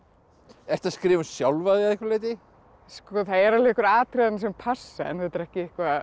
ertu að skrifa um sjálfa þig að einhverju leyti sko það eru alveg einhver atriði sem passa en þetta er ekki